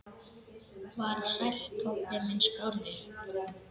Var Sæll Tobbi minn skárra?